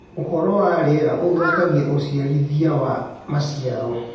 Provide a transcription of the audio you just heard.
Ũhoro wa rĩera ũthũkagĩa ũcĩarĩthĩa wa macĩaro